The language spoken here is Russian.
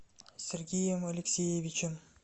сергеем алексеевичем